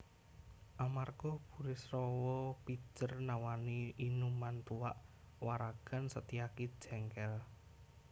Amarga Burisrawa pijer nawani inuman tuak waragan Setyaki jéngkél